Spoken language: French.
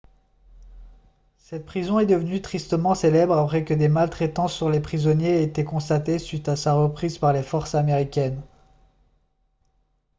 cette prison est devenue tristement célèbre après que des maltraitances sur les prisonniers aient été constatées suite à sa reprise par les forces américaines